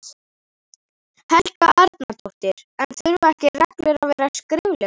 Helga Arnardóttir: En þurfa ekki reglur að vera skriflegar?